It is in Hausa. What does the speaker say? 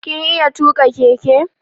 Kin iya tuƙa keke?